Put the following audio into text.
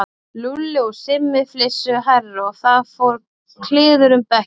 Lúlli og Simmi flissuðu hærra og það fór kliður um bekkinn.